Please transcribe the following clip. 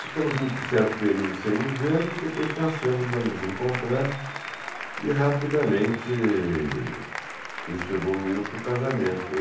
Ficamos um certo período sem nos vermos, depois passamos a nos encontrar e rapidamente isso evoluiu para o casamento.